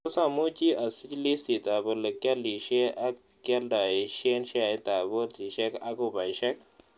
Tos' amuuch asiich liistiitap ole kyaliisye ak kyalntayiisyen sheaitap boltisiek ak ubaisiek